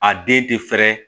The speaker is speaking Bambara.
A den tɛ fɛrɛ